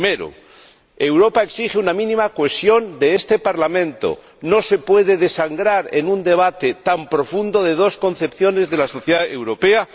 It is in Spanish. En primer lugar, Europa exige una mínima cohesión de este Parlamento no se puede desangrar en un debate tan profundo de dos concepciones de la sociedad europea.